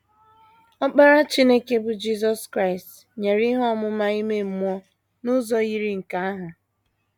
Ọkpara Chineke, bụ́ Jisọs Kraịst, nyere ihe ọmụma ime mmụọ n’ụzọ yiri nke ahụ.